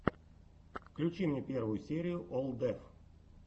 включи мне первую серию олл деф